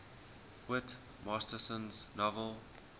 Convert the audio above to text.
whit masterson's novel